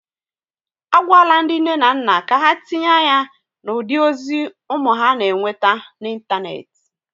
A gwala ndị nne na nna ka ha tinye anya na ụdị ozi ụmụ ha na-enweta na ịntanetị